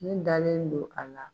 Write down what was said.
Ne dalen don a la.